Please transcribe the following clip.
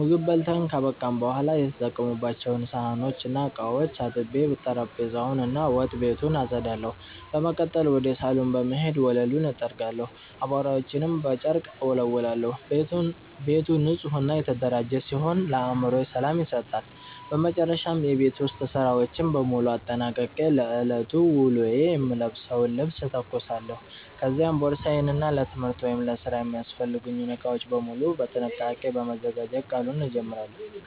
ምግብ በልተን ካበቃን በኋላ የተጠቀሙባቸውን ሳህኖችና ዕቃዎች አጥቤ፣ ጠረጴዛውን እና ወጥ ቤቱን አጸዳለሁ። በመቀጠል ወደ ሳሎን በመሄድ ወለሉን እጠርጋለሁ፣ አቧራዎችንም በጨርቅ እወለውላለሁ። ቤቱ ንጹህና የተደራጀ ሲሆን ለአእምሮ ሰላም ይሰጣል። በመጨረሻም የቤት ውስጥ ሥራዎችን በሙሉ አጠናቅቄ ለዕለቱ ውሎዬ የምለብሰውን ልብስ እተኩሳለሁ፤ ከዚያም ቦርሳዬን እና ለትምህርት ወይም ለሥራ የሚያስፈልጉኝን ዕቃዎች በሙሉ በጥንቃቄ በማዘጋጀት ቀኑን እጀምራለሁ።